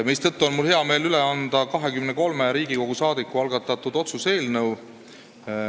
Seetõttu on mul hea meel üle anda 23 Riigikogu liikme algatatud otsuse eelnõu.